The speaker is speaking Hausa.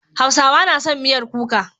Hausawa na son miyar kuka.